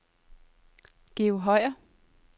Georg Høyer